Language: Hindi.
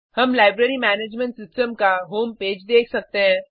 हम लाइब्रेरी मैनेजमेंट सिस्टम का होम पेज देख सकते हैं